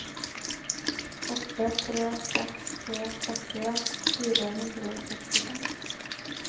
åtte tre seks tre sekstien fire hundre og sekstifem